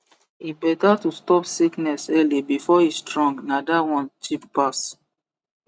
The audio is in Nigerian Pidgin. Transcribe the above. e better to stop sickness early before e strong na that one cheap pass